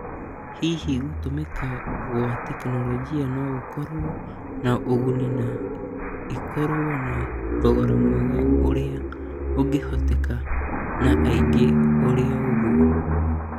Hihi gũtũmĩka gwa tekinoronjĩ no gũkorwo na ũguni na ĩkorwo na thogora mwega ũrĩa ũngĩhotekeka na aingĩ ũrĩoũguo.